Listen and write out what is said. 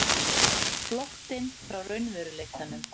Flóttinn frá raunveruleikanum.